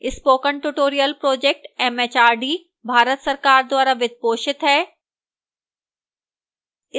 spoken tutorial project mhrd Bharat सरकार द्वारा वित्त पोषित है